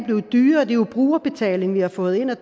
er jo brugerbetaling vi har fået ind ad